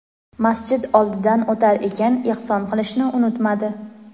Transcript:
Masjid oldidan o‘tar ekan ehson qilishni unutmadi.